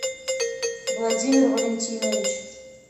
владимир валентинович